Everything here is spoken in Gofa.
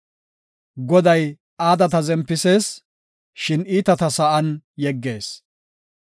Goday aadata zempisees; shin iitata sa7an yeggees.